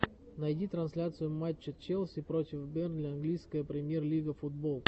найди трансляцию матча челси против бернли английская премьер лига футбол